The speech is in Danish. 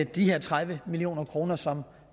de her tredive million kr som